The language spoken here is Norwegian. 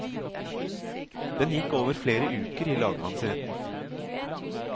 Den gikk over flere uker i lagmannsretten.